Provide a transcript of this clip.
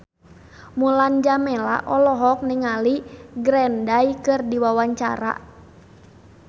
Mulan Jameela olohok ningali Green Day keur diwawancara